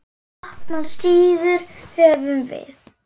Opnar síður höfum við.